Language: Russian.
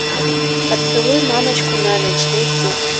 поцелуй мамочку на ночь найти